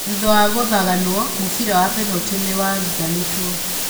Na thutha wa gũthaganwo, mũbira wa penalti nĩ wathanĩtwo.